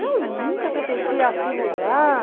Eu nunca pertenci àquilo lá.